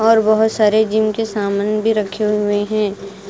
और बहुत सारे जिम के सामान भी रखे हुए हैं।